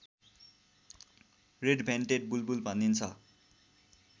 red-vented बुलबुल भनिन्छ